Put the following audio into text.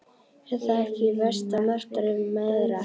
Er það ekki versta martröð mæðra?